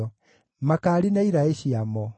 makaari na iraĩ ciamo;